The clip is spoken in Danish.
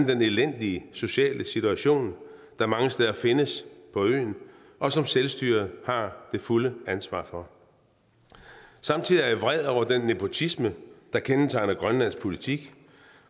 den elendige sociale situation der mange steder findes på øen og som selvstyret har det fulde ansvar for samtidig er jeg vred over den nepotisme der kendetegner grønlands politik